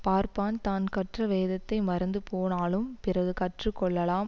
பார்ப்பான் தான் கற்ற வேதத்தை மறந்து போனாலும் பிறகு கற்று கொள்ளலாம்